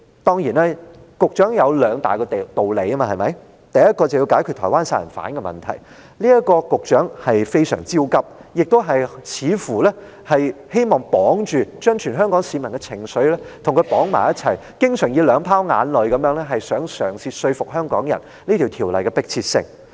當然，局長有他兩大道理，第一就是說要解決台灣殺人案問題，局長對此相當焦急，似乎亦希望把全香港市民的情緒與它綁在一起，經常想以兩泡眼淚嘗試說服香港人《條例》修訂的迫切性。